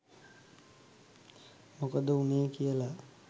මොකද වුනේ කියලා.